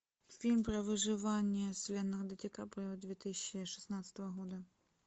фильм про выживание с леонардо ди каприо две тысячи шестнадцатого года